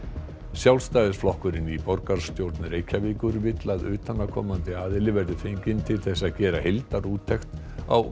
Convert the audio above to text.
Sjálfstæðisflokkurinn í borgarstjórn Reykjavíkur vill að utanaðkomandi aðili verði fenginn til að gera heildarúttekt á